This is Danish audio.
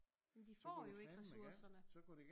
Men de får jo ikke ressourcerne